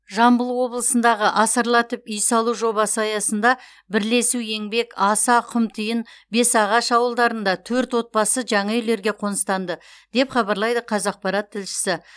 жамбыл облысындағы асарлатып үй салу жобасы аясында бірлесу еңбек аса құмтиын бесағаш ауылдарында төрт отбасы жаңа үйлерге қоныстанды деп хабарлайды қазақпарат тілшісі